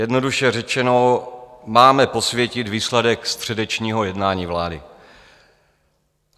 Jednoduše řečeno, máme posvětit výsledek středečního jednání vlády.